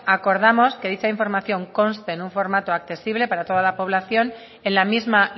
acordamos que dicha información conste en un formatu accesible para toda la población en la misma